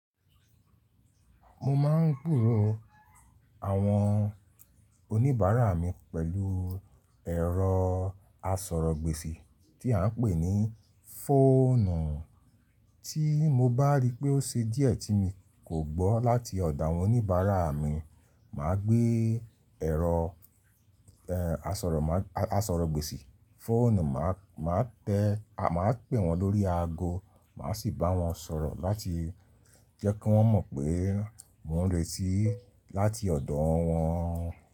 Mo máa ń gbòòrò àwọn oníbàárà mi pẹ̀lú ẹ̀rọ asọ̀rọ̀gbèsì tí à ń pè ní fóònù. Ti mo bá ri pé ó ṣe díẹ̀ tí mi kò gbọ́ láti ọ̀dọ̀ àwọn oníbàárà mi, màá gbé ẹ̀rọ, ẹ, asọ̀rọ̀, asọ̀rọ̀gbèsì fóònù, màá, màá tẹ, màá pè wọ́n lórí ago, màá sì bá wọ́n sọ̀rọ̀ láti jẹ́ kí wọ́n mọ̀ pé mò ń reti láti ọ̀dọ̀ wọ́n.